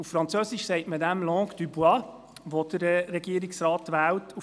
Auf Französisch nennt man die Sprechweise des Regierungsrates «langue du bois».